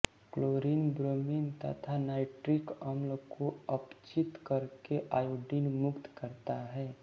chlorine bromine तथा nitric अम्ल को अपचित करके आयोडीन मुक्त करता है